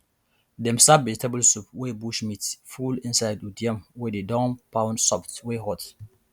dem serve vegetable soup wey bush meat full inside with yam wey dey don pound soft wey hot